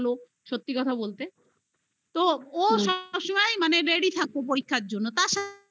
পড়া বলো সত্যি কথা বলতে, তো ও সবসময় ready থাকত পরীক্ষার জন্য